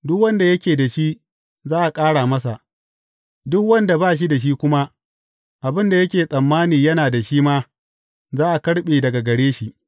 Duk wanda yake da shi, za a ƙara masa, duk wanda ba shi da shi kuma, abin da yake tsammani yana da shi ma, za a karɓe daga gare shi.